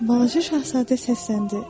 Balaca şahzadə səsləndi: